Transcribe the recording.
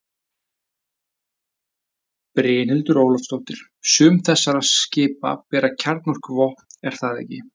Brynhildur Ólafsdóttir: Sum þessara skipa bera kjarnorkuvopn er það ekki?